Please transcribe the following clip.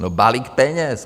No, balík peněz!